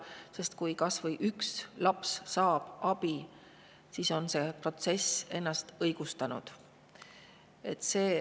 Sest kui kas või üks laps saab abi, on see protsess ennast õigustanud.